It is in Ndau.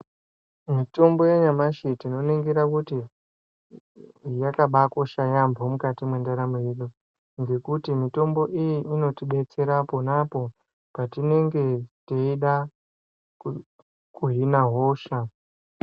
Mitombo yanyamashi tinoningira kuti yakabakosha yambo mukati mwendaramo yedu ngekuti mitombo iyi inotidetsera pona apo patinenge teida kuhina hosha.